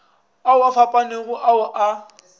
ao a fapanego ao a